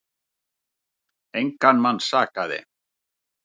Engan mann sakaði.